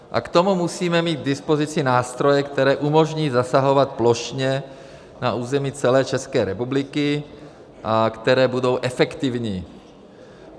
A k tomu musíme mít k dispozici nástroje, které umožní zasahovat plošně na území celé České republiky a které budou efektivní.